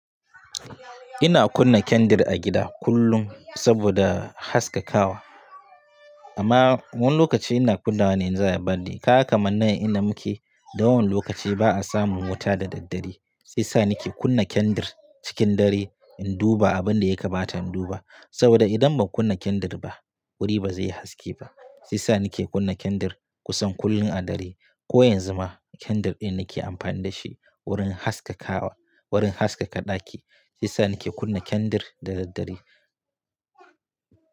Ina kunna kendir a gida kullum saboda haskakawa. Amma wani lokaci ina kunna wa ne in za'ayi birthday kaga kaman nan ina muke. Da yawan lokaci ba a samun wuta da daddare. Sai sa ni ke kunna kendir cikin dare in duba abin da ya kamata in duba. Saboda idan ban kunna kendir ba, wuri ba zai yi haske ba. Sai sa ni ke kunna kandir kusan kullum a dare. Ko yanzu ma kandir ɗin nake amfani da shi wurin haskakawa, wurin haskaka ɗaki. Sai sa ni ke kunna kandir da daddare.